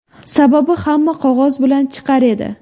Sababi hamma qog‘oz bilan chiqar edi.